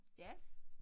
Ja